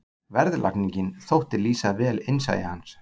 Verðlagningin þótti lýsa vel innsæi hans.